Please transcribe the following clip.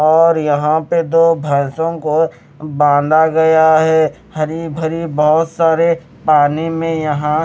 और यहां पर दो भैंसों को बांधा गया है हरी भरी बहोत सारे पानी में यहां--